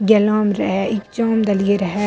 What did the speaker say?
रहे एग्जाम देलिए रहे --